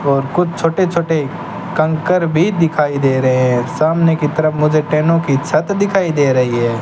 और कुछ छोटे छोटे कंकर भी दिखाई दे रहे है सामने की तरफ मुझे टी की छत दिखाई दे रही है।